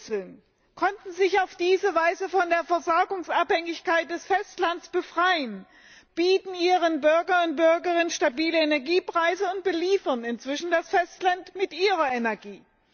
Inseln konnten sich auf diese Weise von der Versorgungsabhängigkeit vom Festland befreien, bieten ihren Bürgerinnen und Bürgern stabile Energiepreise und beliefern inzwischen das Festland mit ihrer Energie.